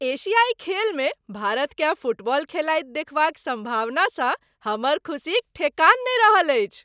एशियाइ खेलमे भारतकेँ फुटबॉल खेलाइत देखबाक सम्भावनासँ हमर खुसीक ठेकान नहि रहल अछि ।